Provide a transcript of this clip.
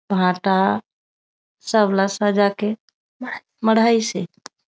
भांटा सब ला सजा के मढ़ाइस हे।